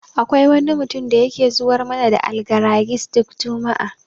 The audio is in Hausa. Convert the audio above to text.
Akwai wani mutum da yake zuwar mana da Algaragis duk juma'a.